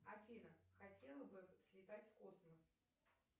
афина хотела бы слетать в космос